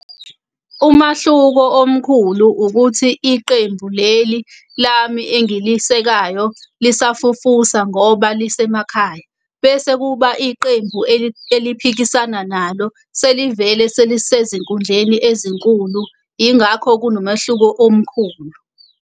Umahluko omkhulu ukuthi iqembu leli lami engilisekayo lisafufusa ngoba lisemakhaya, bese kuba iqembu eliphikisayo nalo selivele selisezinkundleni ezinkulu. Ingakho kunomehluko omkhulu.